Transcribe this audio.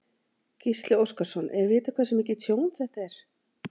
Gísli Óskarsson: Er vitað hversu mikið tjón þetta er?